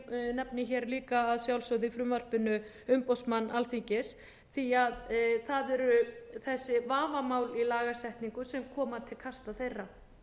nefni hér líka að sjálfsögðu í frumvarpinu umboðsmann alþingis því það eru þessi vafamál í lagasetningu sem koma til kasta þeirra